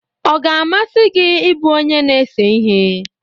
ọ ga-amasị gị ịbụ onye na-ese ihe?